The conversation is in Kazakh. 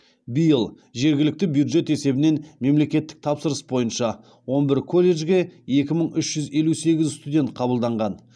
биыл жергілікті бюджет есебінен мемлекеттік тапсырыс бойынша он бір колледжге екі мың үш жүз елу сегіз студент қабылданған